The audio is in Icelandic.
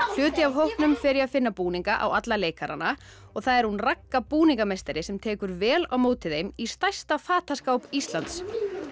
hluti af hópnum fer í að finna búninga á alla leikarana og það er hún Ragga búningameistari sem tekur vel á móti þeim í stærsta fataskáp Íslands